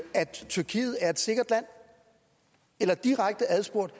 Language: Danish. tyrkiet er et sikkert land eller direkte adspurgt